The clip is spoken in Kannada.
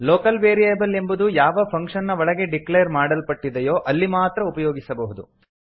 ಲೋಕಲ್ ವೇರಿಯೇಬಲ್ ಎಂಬುದು ಯಾವ ಫಂಕ್ಷನ್ ನ ಒಳಗೆ ಡಿಕ್ಲೇರ್ ಮಾಡಲ್ಪಟ್ಟಿದೆಯೋ ಅಲ್ಲಿ ಮಾತ್ರ ಉಪಯೋಗಿಸಬಹುದು